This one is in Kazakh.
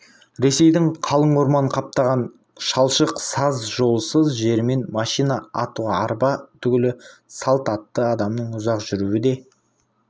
ресейдің қалың орман қаптаған шалшық саз жолсыз жерімен машина ат арба түгілі салт атты адамның ұзақ жүруі де